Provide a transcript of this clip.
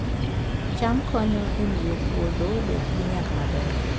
cham konyo e miyo puodho obed gi nyak maber